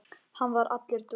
Hann var allur dofinn.